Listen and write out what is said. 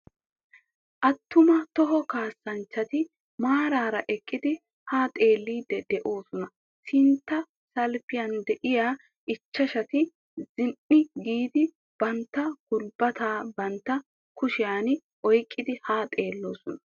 Attuma toho kaassanchchati maaraara eqqidi haa xelliiddi doosona. Sintta salppiyan diya ichchashati ziqqi giidi bantta gulbbataa bantta kushiyan oyqqidi haa xeelloosona.